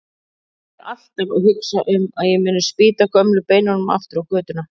Ég fer alltaf að hugsa um að ég muni spýta gömlu beinunum aftur á götuna.